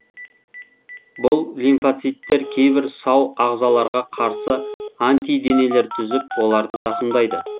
бұл лимфоциттер кейбір сау ағзаларға қарсы антиденелер түзіп оларды зақымдайды